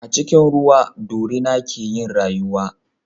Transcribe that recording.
A cikin ruwa dorina ke yin rayuwa